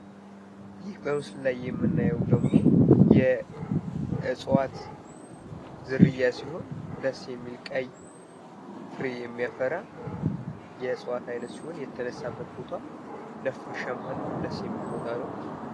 ይህ በምስሉ ላይ የምናየው ደግሞ የእጽዋት ዝርያ ሲሆን ፤ ነፋሻማና ደስ የሚል ምስል ነው ።